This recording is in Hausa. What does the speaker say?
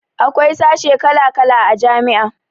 Akwai sashe kala kala a jami'a